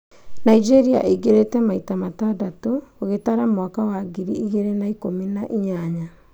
Nigeria ingĩrĩte maita matandatũ ũgĩtara mwaka wa ngiri igĩrĩ na ikũmi na inyanya.